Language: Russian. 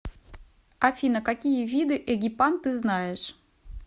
афина какие виды эгипан ты знаешь